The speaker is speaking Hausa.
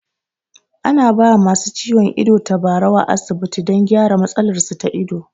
A na ba wa masu ciwon ido tabarau a asibiti don gyara matsalar su ta ido